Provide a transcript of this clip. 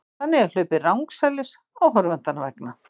Þannig er hlaupið rangsælis áhorfendanna vegna.